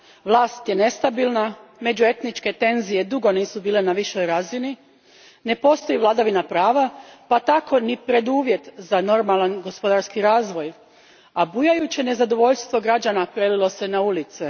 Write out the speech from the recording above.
Vlast je nestabilna, međuetničke tenzije dugo nisu bile na višoj razini, ne postoji vladavina prava pa tako ni preduvjet za normalan gospodarski razvoj, a bujajuće nezadovoljstvo građana prelilo se na ulice.